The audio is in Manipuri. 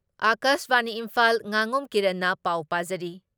ꯑꯀꯥꯁꯕꯥꯅꯤ ꯏꯝꯐꯥꯜ ꯉꯥꯉꯣꯝ ꯀꯤꯔꯟꯅ ꯄꯥꯎ ꯄꯥꯖꯔꯤ